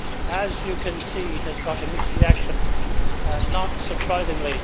As you can see, it has got a mixed reaction not surprisingly.